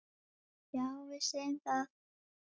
Já, við segjum það.